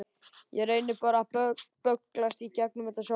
Ég reyni bara að bögglast í gegnum þetta sjálfur.